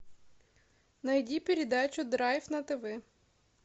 найди передачу драйв на тв